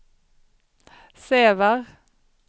Sävar